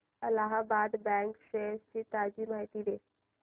Allahabad bank shares ची ताजी माहिती दे